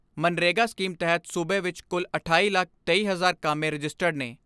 MGNREGA scheme ਤਹਿਤ ਸੂਬੇ ਵਿਚ ਕੁਲ ਅਠਾਈ ਲੱਖ ਤੇਈ ਹਜ਼ਾਰ ਕਾਮੇ ਰਜਿਸਟਰਡ ਨੇ।